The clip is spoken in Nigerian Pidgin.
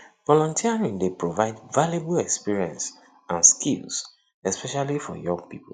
volunteering dey provide valuable experience and skills especially for young people